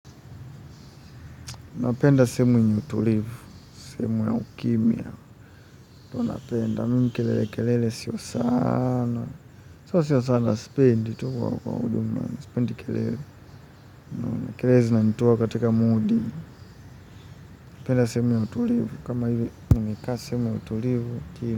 Napenda simu yenye utulivu simu ya ukimya huwa napenda, mimi kelele kelele sio sana. Sio sio sana sipend tu kwa ujumla, sipendi kelele. Kelele zinanitoa katika moodi, napenda sehemu ya utulivu. Kama hivi, nimekaa sehemu ya utulivu.